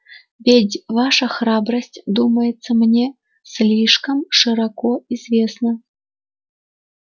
ведь ваша храбрость думается мне слишком широко известна